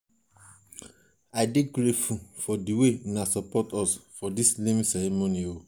i dey grateful for di way una support us for dis naming ceremony.